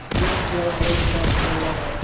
at national and international level.